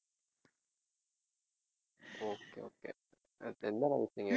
okay okay எந்த நாள் வச்சீங்க